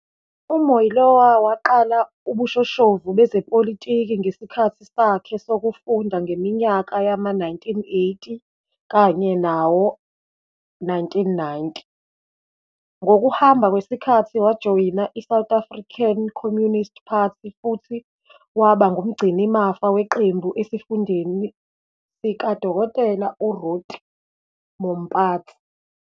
UMoiloa waqala ubushoshovu bezepolitiki ngesikhathi sakhe sokufunda ngeminyaka yama-1980 kanye nawo-1990. Ngokuhamba kwesikhathi wajoyina iSouth African Communist Party futhi waba ngumgcinimafa weqembu esifundeni sikaDkt Ruth Mompatsi.